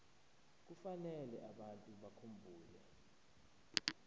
kufanele abantu bakhumbule